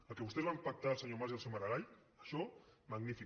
el que vostès van pactar el senyor mas i el senyor maragall això magnífic